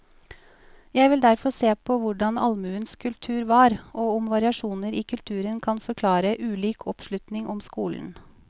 Jeg vil derfor se på hvordan allmuens kultur var, og om variasjoner i kulturen kan forklare ulik oppslutning om skolen.